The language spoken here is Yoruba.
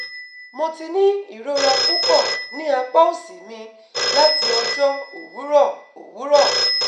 Mo ti ni irora pupọ ni apa osi mi lati ọjọ owurọ owurọ